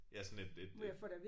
Ja sådan et et